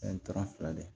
fila de